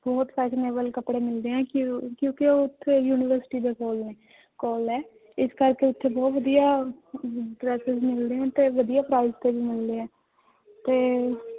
ਬਹੁਤ fashionable ਕੱਪੜੇ ਮਿਲਦੇ ਹੈ ਕਿਉਂ~ ਕਿਉਂਕਿ ਉੱਥੇ university ਦੇ ਕੋਲ ਹੈ ਕੋਲ ਹੈ ਇਸ ਕਰਕੇ ਉੱਥੇ ਬਹੁਤ ਵਧੀਆ dresses ਮਿਲਦੇੇ ਹੈ ਤੇ ਵਧੀਆ price ਤੇ ਵੀ ਮਿਲਦੇ ਹੈ ਤੇ